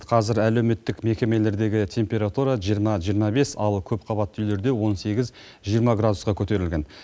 қазір әлеуметтік мекемелердегі температура жиырма жиырма бес ал көпқабатты үйлерде он сегіз жиырма градусқа көтерілген